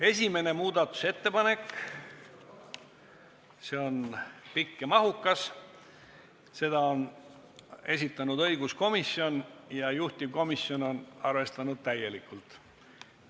1. muudatusettepanek on pikk ja mahukas, selle on esitanud õiguskomisjon ja juhtivkomisjon on arvestanud seda täielikult.